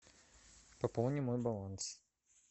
пополни мой баланс